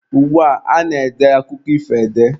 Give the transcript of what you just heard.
Ugbua, a na-ede akụkọ ifo ede.